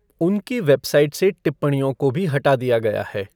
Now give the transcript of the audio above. उनकी वेबसाइट से टिप्पणियों को भी हटा दिया गया है।